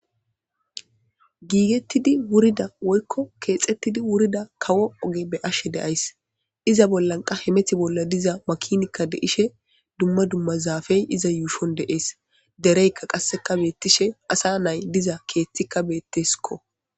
giigettidi wurida woykko keexettidi wurida kawo oge be ashe deays iza bollan qa hemeti bolla diza makinikka de ishe dumma dumma zaafey iza yuushon deees dereykka qasseka beettishe asa nay diza keeththikka beettesikko